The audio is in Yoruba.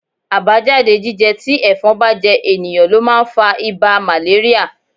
Àbájáde jíjẹ tí ẹ̀fọn bá jẹ ènìyàn ló máa ń fa ibà màléríà.